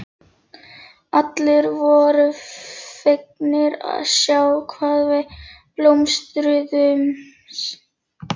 Allir voru fegnir að sjá hvað við blómstruðum.